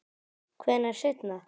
Hvenær seinna?